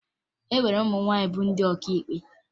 E nwere ụmụ nwaanyị bụ ndị ọkàikpe